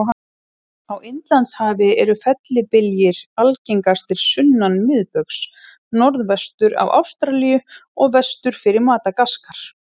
Á Indlandshafi eru fellibyljir algengastir sunnan miðbaugs, norðvestur af Ástralíu og vestur fyrir Madagaskar.